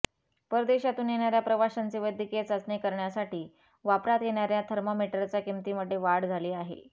परदेशातून येणाऱ्या प्रवाशांची वैद्यकीय चाचणी करण्यासाठी वापरात येणाऱ्या थर्मामीटरच्या किंमतीमध्ये वाढ झाली आहे